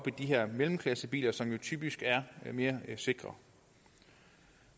de her mellemklassebiler som jo typisk er mere sikre